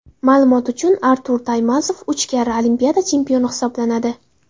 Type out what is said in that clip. Ma’lumot uchun, Artur Taymazov uch karra Olimpiada chempioni hisoblanadi.